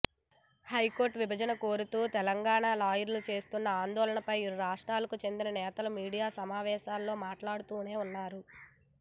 high court విభజన కోరుతూ తెలంగాణ లాయర్లు చేస్తున్న ఆందోళనలపై ఇరు రాష్ట్రాలకు చెందిన నేతలు మీడియా సమావేశాల్లో మాట్లాడుతూనే ఉన్నారు